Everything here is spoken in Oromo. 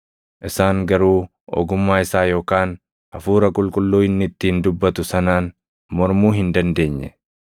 Isaan garuu ogummaa isaa yookaan Hafuura Qulqulluu inni ittiin dubbatu sanaan mormuu hin dandeenye.